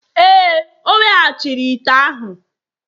Ee, o weghachiri ite ahụ